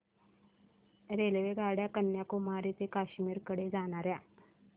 रेल्वेगाड्या कन्याकुमारी ते काश्मीर कडे जाणाऱ्या